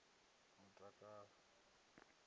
mutakalo